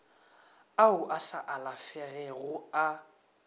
ao a sa alafegego a